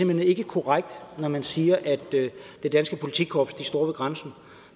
hen ikke er korrekt når man siger at det danske politikorps står ved grænsen